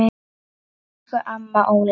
Elsku amma Óla.